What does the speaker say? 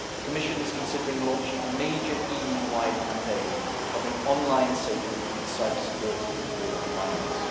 The Commission is considering launching a major EU wide campaign covering online safety and cybersecurity for minors.